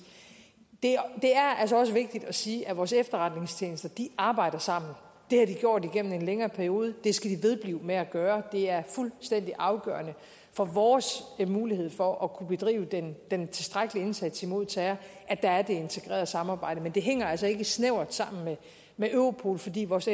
det er altså også vigtigt at sige at vores efterretningstjenester arbejder sammen det har de gjort igennem en længere periode det skal de vedblive med at gøre det er fuldstændig afgørende for vores mulighed for at kunne bedrive den den tilstrækkelige indsats imod terror at der er det integrerede samarbejde men det hænger altså ikke snævert sammen med europol fordi vores